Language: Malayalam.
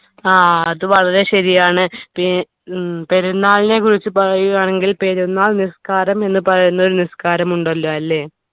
ആ അത് വളരെ ശരിയാണ് പേ ഹും പെരുന്നാളിനെ കുറിച്ച് പറയുകയാണെങ്കിൽ പെരുന്നാൾ നിസ്കാരം എന്ന് പറയുന്ന ഒരു നിസ്കാരം ഉണ്ടല്ലോ അല്ലേ